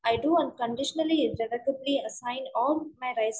I do അണ്‍ കണ്‍ഡീഷണലിഅസൈന്‍ of my rights.